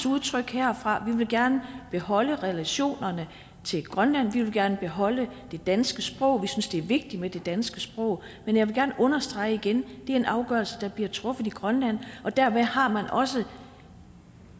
udtrykke herfra at vi gerne beholde relationerne til grønland at vi gerne vil beholde det danske sprog at vi synes det er vigtigt med det danske sprog men jeg vil gerne understrege igen at det er en afgørelse der bliver truffet i grønland dermed har man også